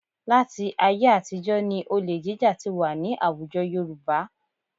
Láti ayé àtijọ́ ni olè jíjà ti wà ní àwùjọ Yorùbá